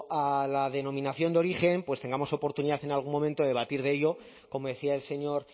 a la denominación de origen pues tengamos oportunidad en algún momento de debatir de ello como decía el señor